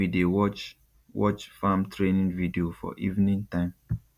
we dey watch watch farm training video for evening time